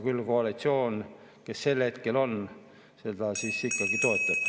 Küll koalitsioon, kes sel hetkel on, seda ikkagi toetab.